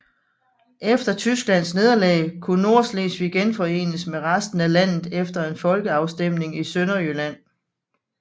Efter Tysklands nederlag kunne Nordslesvig genforenes med resten af landet efter en folkeafstemning i Sønderjylland